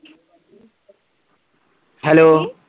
hello